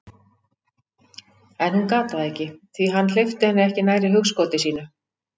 En hún gat það ekki, því hann hleypti henni ekki nærri hugskoti sínu.